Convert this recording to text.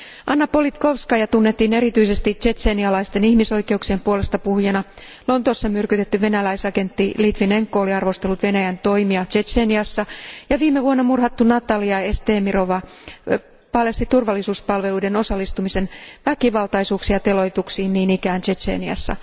Anna Politkovskaja tunnettiin erityisesti tšetšenialaisten ihmisoikeuksien puolestapuhujana, Lontoossa myrkytetty venäläisagentti Litvinenko oli arvostellut Venäjän toimia Tšetšeniassa ja viime vuonna murhattu Natalia Estemirova paljasti turvallisuuspalveluiden osallistumisen väkivaltaisuuksiin ja teloituksiin niin ikään Tšetšeniassa.